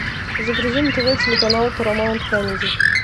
загрузи на тв телеканал парамаунт камеди